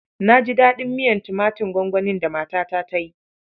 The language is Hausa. Na ji daɗin miyar tumatin gwangwanin da matata ta yi.